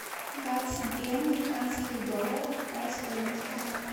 двадцать два американских доллара какая стоимость